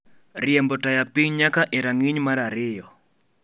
riembo taya piny nyaka e rang'iny mar ariyo